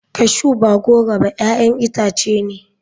Cashew ba goro ba 'ya'yan itace ne.